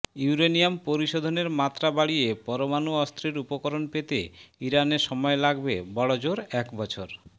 uranium পরিশোধনের মাত্রা বাড়িয়ে পরমাণু অস্ত্রের উপকরণ পেতে ইরানের সময় লাগবে বড়জোর একবছর